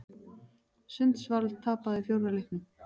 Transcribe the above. Sundsvall tapaði fjórða leiknum